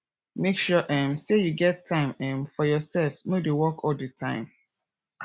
make sure um sey you get time um for yoursef no dey work all di time